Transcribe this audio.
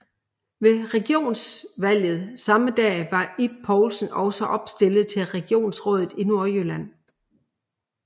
Ved regionrådsvalget samme dag var Ib Poulsen også opstillet til regionsrådet i Nordjylland